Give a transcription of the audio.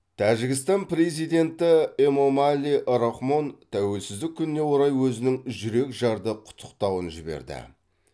тәжікстан президенті эмомали рахмон тәуелсіздік күніне орай өзінің жүрекжарды құттықтауын жіберді